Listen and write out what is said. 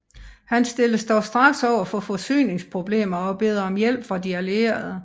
Han stilles dog straks over for forsyningsproblemer og beder om hjælp fra De Allierede